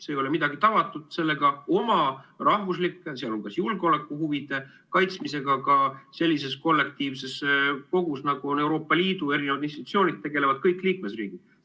See ei ole midagi tavatut, oma rahvuslike, sh julgeolekuhuvide kaitsmisega ka sellises kollektiivses kogus, nagu on Euroopa Liidu erinevad institutsioonid, tegelevad kõik liikmesriigid.